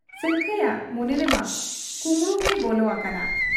ᱥᱟᱹᱝᱠᱷᱟᱹᱭᱟᱜ ᱢᱚᱱᱮ ᱨᱮᱢᱟ ᱠᱩᱢᱵᱽᱲᱩᱜᱮᱭ ᱵᱚᱞᱚ ᱟᱠᱟᱱᱟ ᱾